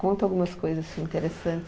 Conta algumas coisas interessantes.